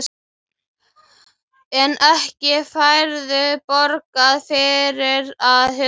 En ekki færðu borgað fyrir að hugsa?